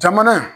Jamana